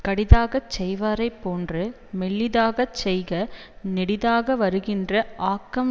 கடிதாகச் செய்வாரைப் போன்று மெல்லிதாகச் செய்க நெடிதாக வருகின்ற ஆக்கம்